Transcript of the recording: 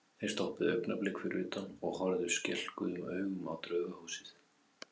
Þeir stoppuðu augnablik fyrir utan og horfðu skelkuðum augum á Draugahúsið.